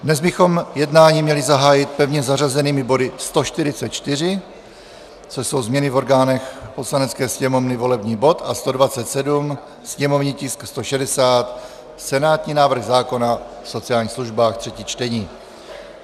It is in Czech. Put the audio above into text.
Dnes bychom jednání měli zahájit pevně zařazenými body 144, což jsou změny v orgánech Poslanecké sněmovny, volební bod, a 127, sněmovní tisk 160 - senátní návrh zákona o sociálních službách, třetí čtení.